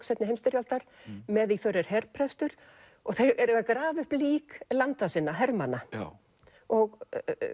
seinni heimsstyrjaldar með í för er og þeir eru að grafa upp lík landa sinna hermanna og